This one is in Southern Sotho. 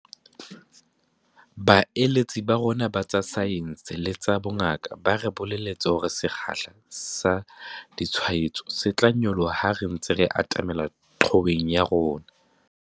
Baeletsi ba rona ba tsa saense le tsa bongaka ba re bolelletse hore sekgahla sa ditshwaetso se tla nyoloha ha re ntse re atamela qhoweng ya rona.